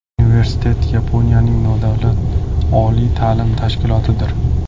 Universitet Yaponiyaning nodavlat oliy ta’lim tashkilotidir.